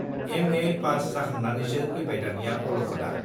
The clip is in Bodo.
एमए पास जाखांनानैसो फैबाय दानिया अल'खदआ।